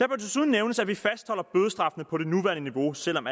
desuden nævnes at vi fastholder bødestraffene på det nuværende niveau selv om